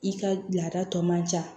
I ka laada tɔ man ca